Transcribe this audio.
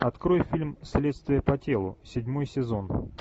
открой фильм следствие по телу седьмой сезон